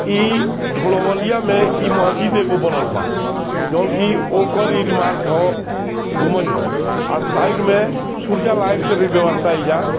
इ ढोलवलिया में इ महजिद एगो बनल बा जॉन कि ओकर गुंबज है अ साइड में सूर्या लाइट के भी व्यवस्था एजा --